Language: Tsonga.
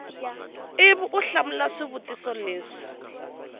ivi u hlamula swivutiso leswi